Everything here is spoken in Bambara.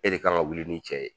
E de kan ka wuli ni cɛ ye